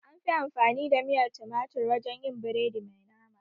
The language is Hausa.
Anfi amfani da miyar tumatir wajen yin biredi mai nama